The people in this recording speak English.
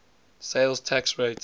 sales tax rate